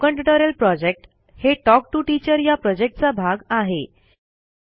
spoken tutorial project हे talk to teacher या प्रॉजेक्टचा भाग आहे